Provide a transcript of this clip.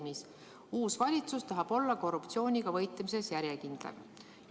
uus valitsus tahab olla korruptsiooniga võitlemisel järjekindlam.